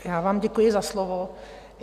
Já vám děkuji za slovo.